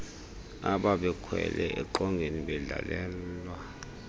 ababekhwele eqongeni wadlalelwa